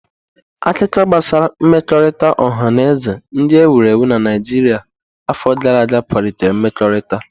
Akụkọ gbasara mmekọrịta ọha na eze ndị e wuru na Naijiria afọ gara aga kwalitere mmekọrịta.